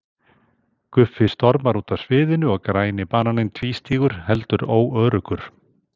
Guffi stormar út af sviðinu og Græni bananinn tvístígur heldur óöruggur.